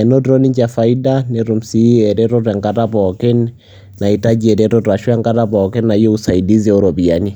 enotito ninche faida netum sii eretoto enata pookin naitaji eretoto ashu enkata pookin nayieu usaidisi ooropiyiani.